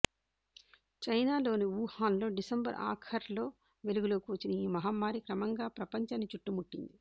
చైనాలోని వుహాన్లో డిసెంబరు ఆఖర్లో వెలుగులోకి వచ్చిన ఈ మహమ్మారి క్రమంగా ప్రపంచాన్ని చుట్టుముట్టింది